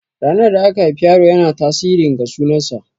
Ranar da aka haifi yaro yana tasirin ga sunan sa.